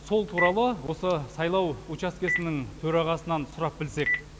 сол туралы осы сайлау учаскесінің төрағасынан сұрап білсек